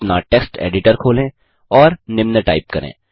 अपना text editor खोलें और निम्न टाइप करें